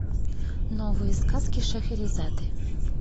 новые сказки шахерезады